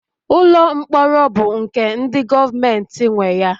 Ụlọ mkpọrọ bụ nke ndi govementi nwe ya